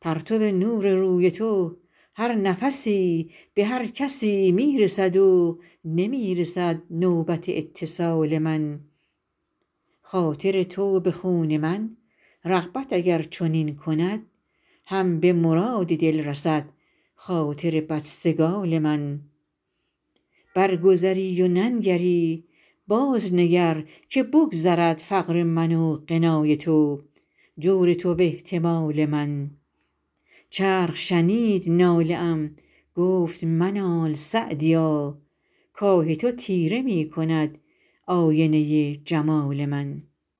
پرتو نور روی تو هر نفسی به هر کسی می رسد و نمی رسد نوبت اتصال من خاطر تو به خون من رغبت اگر چنین کند هم به مراد دل رسد خاطر بدسگال من برگذری و ننگری بازنگر که بگذرد فقر من و غنای تو جور تو و احتمال من چرخ شنید ناله ام گفت منال سعدیا کآه تو تیره می کند آینه جمال من